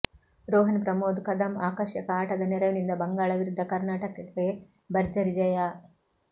ರೋಹನ್ ಪ್ರಮೋದ್ ಕದಂ ಆಕರ್ಶಕ ಆಟದ ನೆರವಿನಿಂದ ಬಂಗಾಳ ವಿರುದ್ಧ ಕರ್ನಾಟಕಕ್ಕೆ ಭರ್ಜರಿ ಜಯ